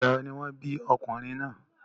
Ìgbà wo ni wọ́n bí ọmọkùnrin náà?